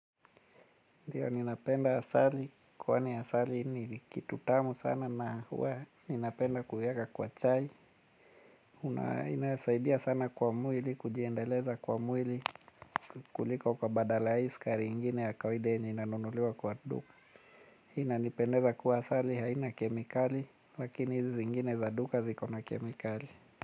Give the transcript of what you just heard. Ndiyo ninapenda asali kwani asali ni kitu tamu sana na huwa ninapenda kuieka kwa chai na inasaidia sana kwa mwili kujiendeleza kwa mwili kuliko kwa badala hii sukari ingine ya kawaida yenye inanunuliwa kwa duka. Inanipendeza kuwa asali haina kemikali lakini hizi ingine za duka ziko na kemikali.